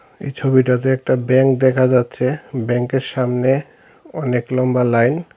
এই ছবিটাতে একটা ব্যাংক দেখা যাচ্ছে ব্যাংকের সামনে অনেক লম্বা লাইন ।